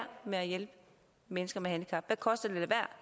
med at hjælpe mennesker med handicap hvad koster det